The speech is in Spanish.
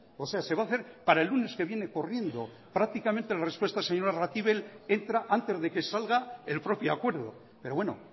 o sea se va a hacer para el lunes que viene corriendo prácticamente la respuesta del señor arratibel entra antes de que salga el propio acuerdo pero bueno